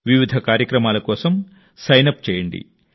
వివిధ కార్యక్రమాల కోసం సైన్ అప్ చేయండి